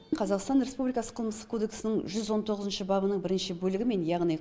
қазақстан республикасы қылмыстық кодексінің жүз он тоғызыншы бабының бірінші бөлігімен яғни